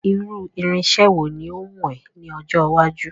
Irú irinse wo ni o wù ọ ní ọjọ́ iwájú